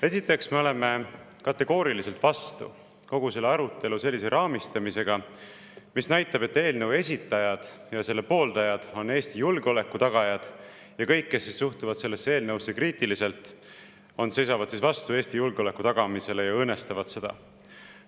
Esiteks, me oleme kategooriliselt vastu kogu selle arutelu sellise raamistamisega, mis näitab, et eelnõu esitajad ja selle pooldajad on Eesti julgeoleku tagajad ja kõik, kes suhtuvad sellesse eelnõusse kriitiliselt, seisavad vastu Eesti julgeoleku tagamisele ja õõnestavad seda.